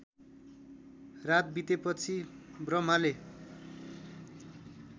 रात बितेपछि ब्रह्माले